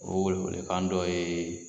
O welewele dɔ ye